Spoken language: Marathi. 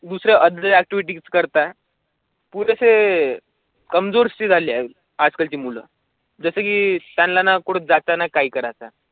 दुसऱ्या ऍक्टीवेट करता. पुढचे कमजोर श्री झाली आहे. आजकालची मुलं जसं की त्यांना कुठेच ज़ाताना काय करायचं?